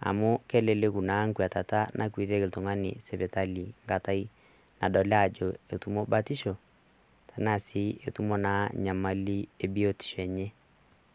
amu keleleku naa nkuatata nakwetieki iltung'ani sipitali nkatai nadoli ajo etumo batisho tenaa sii etumo naa nyamali e biotisho enye.